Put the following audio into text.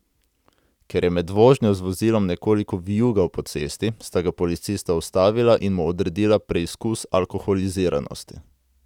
Ker je med vožnjo z vozilom nekoliko vijugal po cesti, sta ga policista ustavila in mu odredila preizkus alkoholiziranosti.